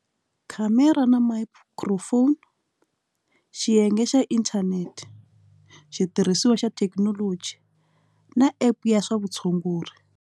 Khamera na microphone xiyenge xa inthanete xitirhisiwa xa thekinoloji na app ya swa vutshunguri.